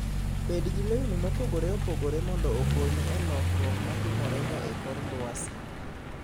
Bed gi lewni mopogore opogore mondo okonyi e lokruok ma timorega e kor lwasi.